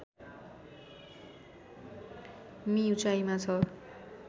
मि उचाइमा छ